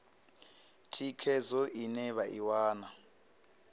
thikhedzo ine vha i wana